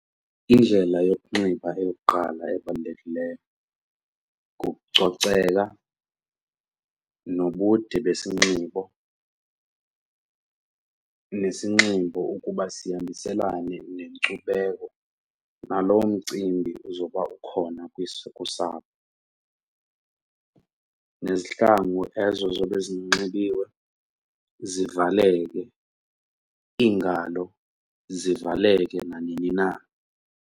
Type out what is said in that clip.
Indlela yokunxiba eyokuqala ebalulekileyo kukucoceka nobude besinxibo nesinxibo ukuba sihambiselana nenkcubeko naloo mcimbi uzoba ukhona kusapho, nezihlangu ezo zobe zinxibiwe zivaleleke, iingalo zivaleke nanini na.